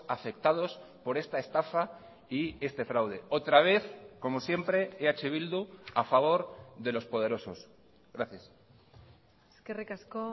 afectados por esta estafa y este fraude otra vez como siempre eh bildu a favor de los poderosos gracias eskerrik asko